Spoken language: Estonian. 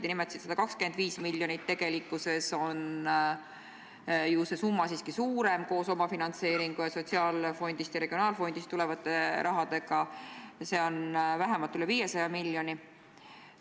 Te nimetasite 125 miljonit, aga tegelikult on see summa siiski suurem: koos omafinantseeringu ja sotsiaalfondist ja regionaalfondist tuleva rahaga on see veidi üle 500 miljoni.